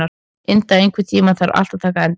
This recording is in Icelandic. Inda, einhvern tímann þarf allt að taka enda.